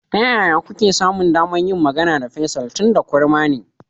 Ta yaya kuke samun damar yin magana da Faisal, tunda kurma ne?